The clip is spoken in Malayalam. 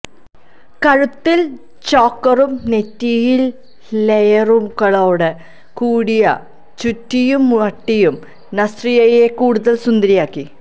കഴുത്തില് ചോക്കറും നെറ്റിയില് ലെയറുകളോടു കൂടിയ ചുട്ടിയും മാട്ടിയും നസ്രിയയെ കൂടുതല് സുന്ദരിയാക്കി